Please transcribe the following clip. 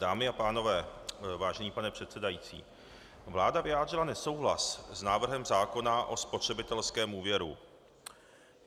Dámy a pánové, vážený pane předsedající, vláda vyjádřila nesouhlas s návrhem zákona o spotřebitelském úvěru.